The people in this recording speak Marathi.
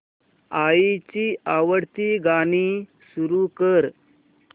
आईची आवडती गाणी सुरू कर